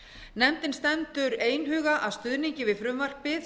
nefndin stendur einhuga að stuðningi við frumvarpið